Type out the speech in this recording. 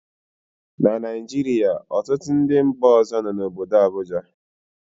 na Naijiria, ọtụtụ ndị mba ọzọ nọ n'obodo Abuja